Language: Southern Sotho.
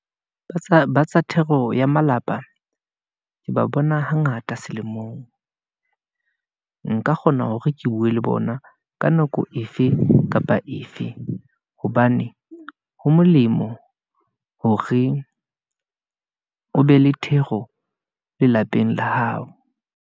ba tsa thero ya malapa , ke ba bona hangata selemong , nka kgona hore ke bue le bona, ka nako efe kapa efe, hobane ho molemo hore o be le thero lelapeng la hao.